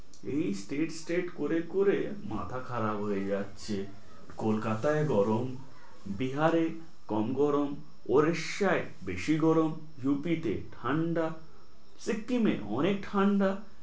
এই state state করে করে মাথা খারাপ হয়ে যাচ্ছে, কলকাতায় গরম, বিহারে কম গরম, উড়িষ্যায় বেশি গরম, ইউপিটে ঠাণ্ডা, সিকিমে অনেক ঠান্ডা।